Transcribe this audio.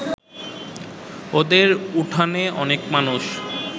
ওদের উঠানে অনেক মানুষ